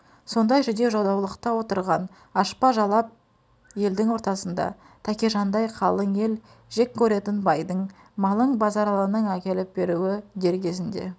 сондай жүдеу-жадаулықта отырған ашпа-жалап елдің ортасында тәкежандай қалың ел жек көретін байдың малын базаралының әкеліп беруі дер кезінде